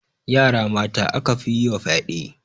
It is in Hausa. Yara mata aka fi yi wa fyaɗe